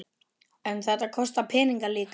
En þetta kostar peninga líka?